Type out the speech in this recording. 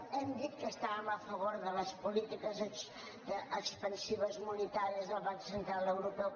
hem dit que estàvem a favor de les polítiques expansives monetàries del banc central europeu